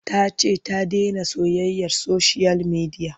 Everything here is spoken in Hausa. Ta ce ta dena soyayyar soshiyal midiya.